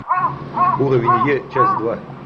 уровень е часть два